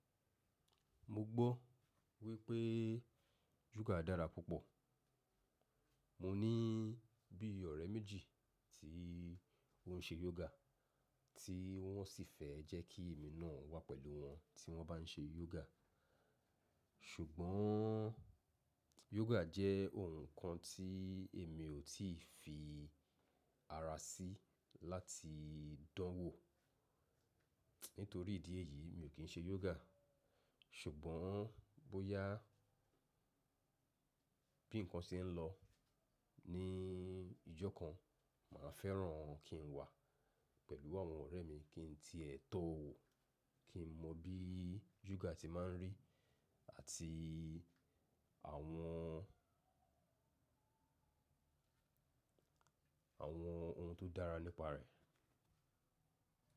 Mo gbọ́ wípé yoga dára púpọ̀. Mo ní bí ọ̀rẹ́ méjì tí wọ́n se yoga tí wọ́n sì fẹ́ jẹ́ kí èmi náà wà pẹ̀lú wọn tí wọ́n bá ń ṣe yoga. Ṣùgbọ́n yoga jẹ́ ohun kan tí èmi ò tí fi ara sí láti dánwò. Nítorí ìdí èyí mi ò kí ń ṣe yoga. Ṣùgbọ́n bóyá bí ǹkan ṣe ń lọ ní ijọ́ kan máa fẹ́ràn kí n wà pẹ̀lú àwọn ọ̀rẹ́ mi kí n tí ẹ̀ tọ́ wò, kí n mọ bí yoga ti máa ń rí àti àwọn ohun tó dára nípa rẹ̀.